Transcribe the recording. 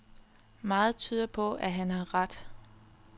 Meget tyder på, at han har ret.